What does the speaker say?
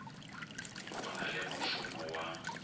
o na le mošomo wa